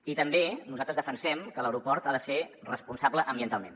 i també nosaltres defensem que l’aeroport ha de ser responsable ambientalment